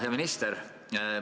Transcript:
Hea minister!